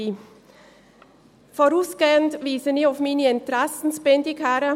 der SiK. Vorausgehend weise ich auf meine Interessensbindung hin: